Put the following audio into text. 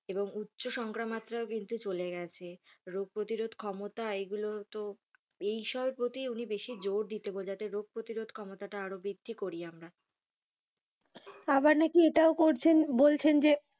এবং উচ্চ সংখ্যা মাত্রায় কিন্তু চলে গেছে। রোগ প্রতিরোধ ক্ষমতা এগুলো তো এইসবের প্রতি উনি বেশি জোর দিতে বলছেন যাতে রোগ প্রতিরোধ ক্ষমতাটা আরও বৃদ্ধি করি আমরা। আবার নাকি এটাও করছেন বলছেন যে,